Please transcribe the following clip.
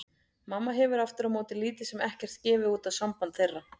Mamma hefur aftur á móti lítið sem ekkert gefið út á samband þeirra.